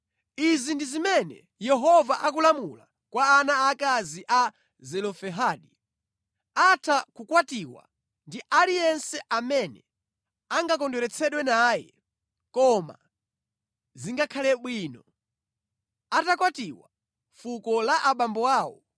Izi ndi zimene Yehova akulamula kwa ana aakazi a Zelofehadi: Atha kukwatiwa ndi aliyense amene angakondweretsedwe naye koma zingakhale bwino atakwatiwa mʼfuko la abambo awo